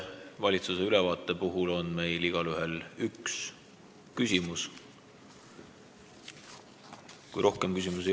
Valitsuse aruande puhul on meil igaühel õigus esitada üks küsimus.